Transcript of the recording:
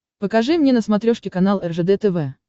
покажи мне на смотрешке канал ржд тв